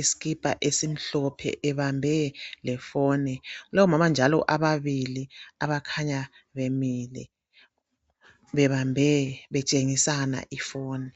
isikipa esimhlophe ebambe lefoni kulabo mama njalo ababili abakhanza bemile bebambe betshengisana ifoni